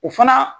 O fana